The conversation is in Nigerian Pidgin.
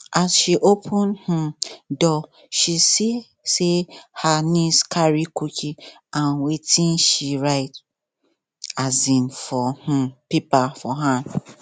as she open um door she see say her niece carry cookie and watin she write um for um paper for hand